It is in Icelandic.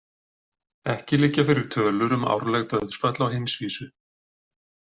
Ekki liggja fyrir tölur um árleg dauðsföll á heimsvísu.